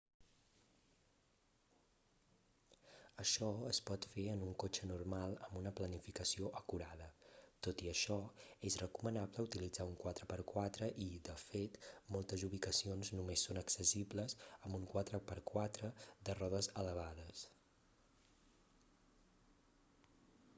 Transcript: això es pot fer en un cotxe normal amb una planificació acurada. tot i això és recomanable utilitzar un 4x4 i de fet moltes ubicacions només són accessibles amb un 4x4 de rodes elevades